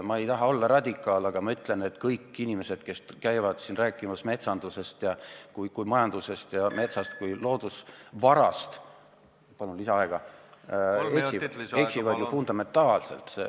Ma ei taha olla radikaal, aga ma ütlen, et kõik inimesed, kes käivad siin rääkimas metsandusest kui majandusest ja metsast kui loodusvarast, eksivad fundamentaalselt.